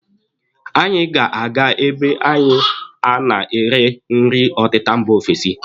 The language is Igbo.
Anyị ga-aga ebe anyị a na-ere nri ọtịta mba ofesi.